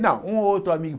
Não, um ou outro amigo.